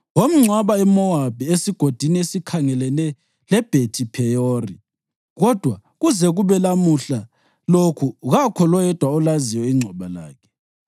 Wamngcwaba eMowabi, esigodini esikhangelene leBhethi-Pheyori, kodwa kuze kube lamuhla lokhu kakho loyedwa olaziyo ingcwaba lakhe.